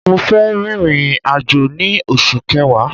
Mo fẹ́ rin ìrìn-àjò ní oṣù kẹwa